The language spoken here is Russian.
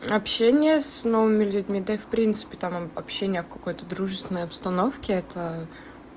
общение с новыми людьми да и в принципе там общение в какой-то дружественной обстановке это